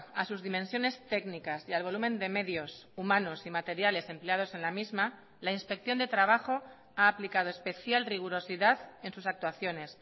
a sus dimensiones técnicas y al volumen de medios humanos y materiales empleados en la misma la inspección de trabajo ha aplicado especial rigurosidad en sus actuaciones